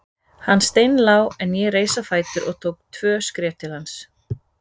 Hann steinlá en ég reis á fætur og tók tvö skref til hans.